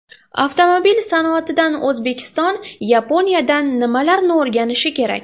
Avtomobil sanoatida O‘zbekiston Yaponiyadan nimalarni o‘rganishi kerak?.